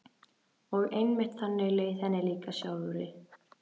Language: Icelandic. Og einmitt þannig leið henni líka sjálfri.